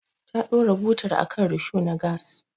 Ta ɗora butar akan risho na gas.